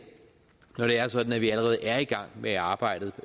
når det er sådan at vi allerede er i gang med arbejdet